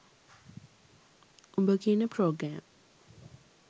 උඹ කියන ප්‍රෝග්‍රෑම්